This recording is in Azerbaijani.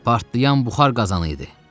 Partlayan buxar qazanı idi.